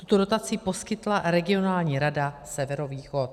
Tuto dotaci poskytla regionální rada Severovýchod.